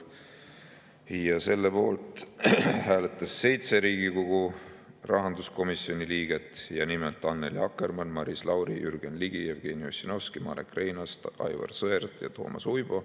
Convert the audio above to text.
Selle poolt hääletas 7 Riigikogu rahanduskomisjoni liiget, nimelt, Annely Akkermann, Maris Lauri, Jürgen Ligi, Jevgeni Ossinovski, Marek Reinaas, Aivar Sõerd ja Toomas Uibo.